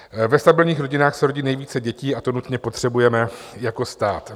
Ve stabilních rodinách se rodí nejvíce dětí a to nutně potřebujeme jako stát.